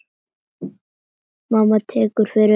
Mamma tekur fyrir augun.